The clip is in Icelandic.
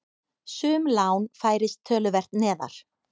Sum lán færist töluvert neðar.